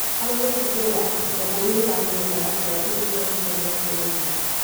Harĩ gũtigĩrĩra atĩ ciana nĩ iranyua ndawa ciao ihinda rĩrĩa rĩagĩrĩire.